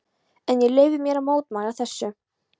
En ég leyfi mér að mótmæla þessu.